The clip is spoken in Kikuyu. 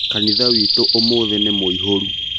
Kanitha witũ ũmũthĩ nĩ mũihũru